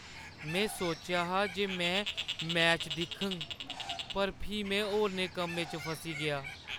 में सोचेआ जे में मैच दिक्खङ पर फ्ही में होरनें कम्में च फस्सी गेआ।